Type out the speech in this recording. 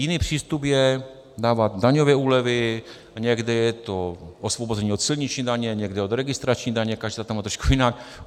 Jiný přístup je dávat daňové úlevy, někde je to osvobození od silniční daně, někde od registrační daně, každá to má trošku jinak.